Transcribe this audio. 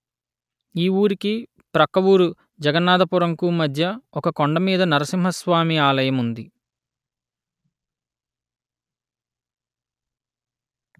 ఈ వూరికి ప్రక్క వూరు జగన్నాధపురంకు మధ్య ఒక కొండమీద నరసింహ స్వామి ఆలయం ఉంది